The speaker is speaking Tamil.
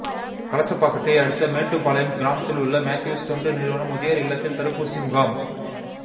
கலசப்பாக்கத்தை அடுத்த மேட்டுபாளையம் கிராமத்தில் உள்ள மேத்யூஸ் தொண்டு நிறுவன முதியோர் இல்லத்தில் தடுப்பூசி முகாம்